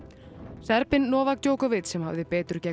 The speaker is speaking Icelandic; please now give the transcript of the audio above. Djokovic sem hafði betur gegn